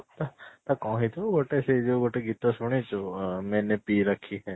ତ କ'ଣ ହେଇ ଥିବ ସେଇ ଯୋଉ ଗୋଟେ ଗୀତ ଶୁଣିଛୁ ଅ ସେ